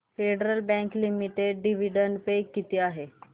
federal Bank Limited dividend पे किती आहे